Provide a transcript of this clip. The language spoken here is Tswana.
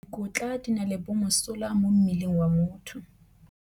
Dikotla di na le bomosola mo mmeleng wa motho.